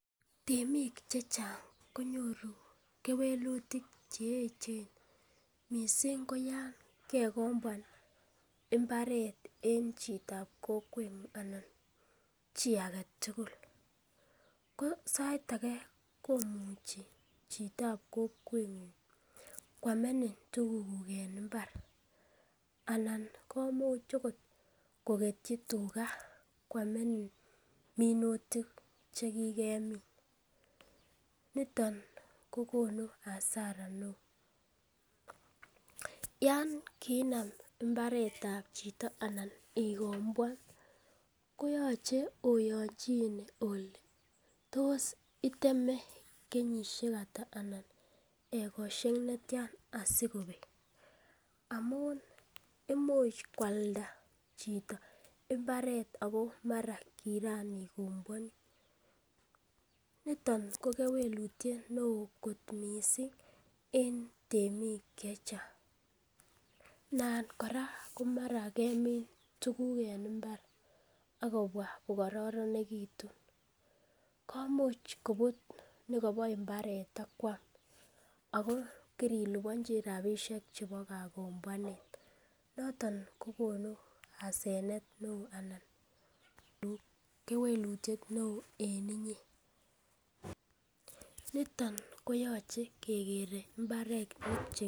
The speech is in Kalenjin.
Temik chechang konyoru kewelutik che eechen mising ko yan kegombwan mbaret en chitab kokweng'ung anan chi agetugul ko sait age komuchi chitab kokweng'ung koamenin tugukuk en mbar anan komuch agot kogetyi tuga koamanini minutik che kigemin. Niton kogonu hasara neo. Yan kiinam mbaret ab chito anan igomboan koyoche oyonchine ole tos iteme keyishek ata anan egosiek ne tyan asikobek? Amun imuch koalda chito mbaret ago mara kigaigomboan. Niton ko kewelutiet neo kot mising en temik chechang. Nan kora komara kemin tuguk en mbar ak kobwa ko kororonegitun, komuch kobut nebo mbaret ak kwam ago kirilibonji rabishek chebo kagomboanet, noton kogonu hasenet neo anan kewelutiet neo en inye. Niton koyoche kegere mbaret.